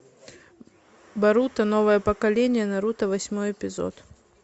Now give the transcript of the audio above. боруто новое поколение наруто восьмой эпизод